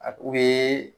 A u bɛ